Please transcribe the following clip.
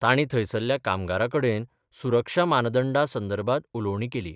तांणी थंयसरल्या कामगारांकडेन सुरक्षा मानदंडा संदर्भात उलोवणी केली.